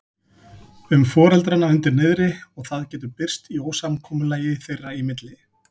um foreldrana undir niðri og það getur birst í ósamkomulagi þeirra í milli.